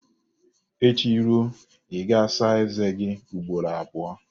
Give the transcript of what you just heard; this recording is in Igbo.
Echi ruo, ị ga-asa eze gị ugboro abụọ